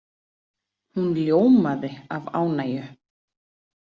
Hún ljómaði af ánægju.